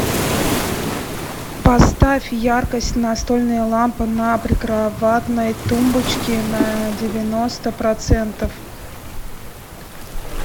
поставь яркость настольная лампа на прикроватной тумбочке на девяносто процентов